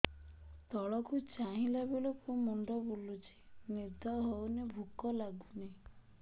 ତଳକୁ ଚାହିଁଲା ବେଳକୁ ମୁଣ୍ଡ ବୁଲୁଚି ନିଦ ହଉନି ଭୁକ ଲାଗୁନି